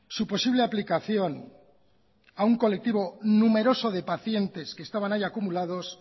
su posible aplicación a un colectivo numeroso de pacientes que estaban ahí acumulados